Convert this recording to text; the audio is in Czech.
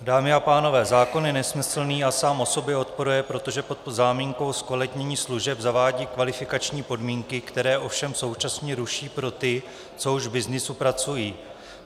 Dámy a pánové, zákon je nesmyslný a sám o sobě odporuje, protože pod záminkou zkvalitnění služeb zavádí kvalifikační podmínky, které ovšem současně ruší pro ty, co už v byznysu pracují.